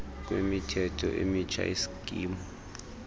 kwemithetho emitsha yesikimu